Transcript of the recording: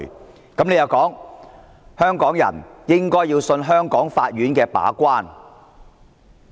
局長的回應是，香港人應相信香港法院的把關。